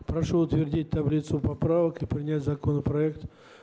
прошу утвердить таблицу поправок и принять законопроект